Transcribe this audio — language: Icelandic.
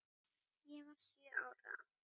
Ég var sjö ára.